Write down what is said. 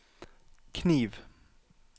kniv